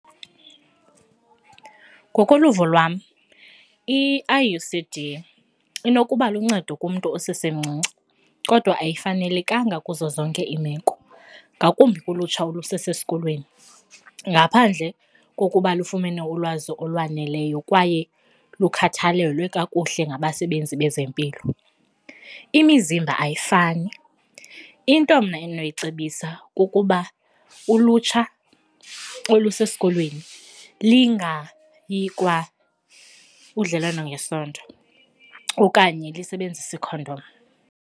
Ngokoluvo lwam i- I_U_C_D inokuba luncedo kumntu osesemcinci kodwa ayifanelekanga kuzo zonke iimeko ngakumbi kulutsha olusesesikolweni ngaphandle kokuba lufumene ulwazi olwaneleyo kwaye lukukhathalelwe kakuhle ngabasebenzi bezempilo. Imizimba ayifani, into mna endinoyicebisa kukuba ulutsha olusesikolweni lingayi kwa kudlelwano ngesondo okanye lisebenzise ikhondom.